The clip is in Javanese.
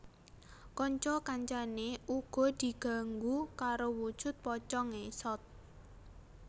Kanca kancané uga diganggu karo wujud pocong ngesot